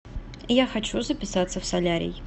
я хочу записаться в солярий